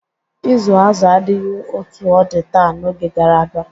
Ịzụ azụ adịghị otu ọ dị taa n'oge gara aga.